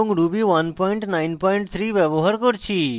ruby 193 ব্যবহার করছি